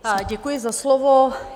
Děkuji za slovo.